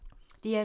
DR2